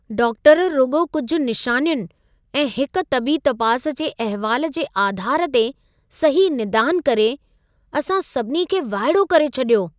Doctor रुॻो कुझु निशानियुनि ऐं हिक तबी तपास जे अहिवाल जे आधार ते सही निदान करे, असां सभिनी खे वाइड़ो करे छॾियो।